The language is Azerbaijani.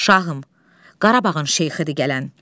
Şahım, Qarabağın şeyxidir gələn.